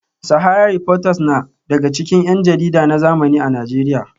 Sahara reporters na daga cikin yan jarida na zamani a Najeriya